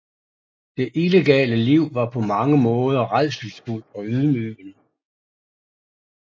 Det illegale liv var på mange måder rædselsfuldt og ydmygende